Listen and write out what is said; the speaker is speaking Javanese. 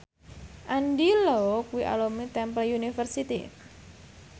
Andy Lau kuwi alumni Temple University